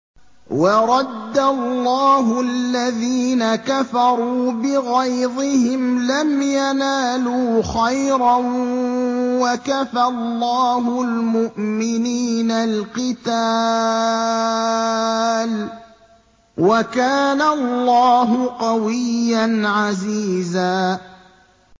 وَرَدَّ اللَّهُ الَّذِينَ كَفَرُوا بِغَيْظِهِمْ لَمْ يَنَالُوا خَيْرًا ۚ وَكَفَى اللَّهُ الْمُؤْمِنِينَ الْقِتَالَ ۚ وَكَانَ اللَّهُ قَوِيًّا عَزِيزًا